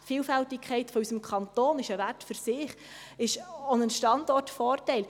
Die Vielfältigkeit unseres Kantons ist ein Wert für sich, ist auch ein Standortvorteil.